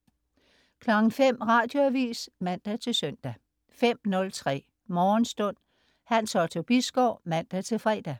05.00 Radioavis (man-søn) 05.03 Morgenstund. Hans Otto Bisgaard (man-fre)